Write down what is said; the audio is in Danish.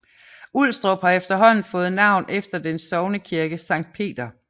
Ulstrup har efterhånden fået navn efter dens sognekirke Sankt Peter